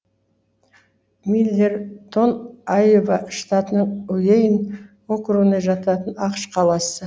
миллертон айова штатының уэйн округіне жататын ақш қаласы